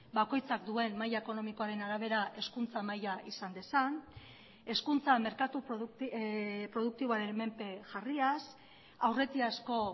bakoitzak duen maila ekonomikoaren arabera hezkuntza maila izan dezan hezkuntza merkatu produktiboaren menpe jarriaz aurretiazko